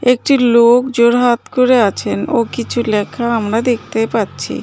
একটি লোক জোড় হাত করে আছেন ও কিছু লেখা আমরা দেখতে পাচ্ছি।